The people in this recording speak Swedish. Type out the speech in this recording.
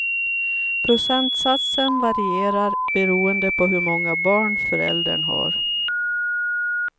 Procentsatsen varierar beroende på hur många barn föräldern har.